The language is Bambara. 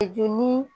Joli